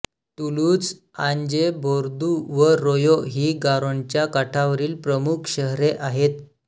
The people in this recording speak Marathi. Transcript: तुलूझ आजें बोर्दू व रोयां ही गारोनच्या काठावरील प्रमुख शहरे आहेत